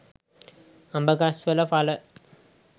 අඹගස්වල ඵල